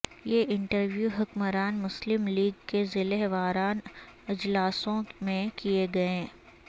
یہ انٹرویو حکمران مسلم لیگ کے ضلع واران اجلاسوں میں کیے گئے